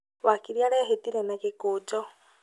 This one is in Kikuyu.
Wakiri arehĩtire na gĩkũnjo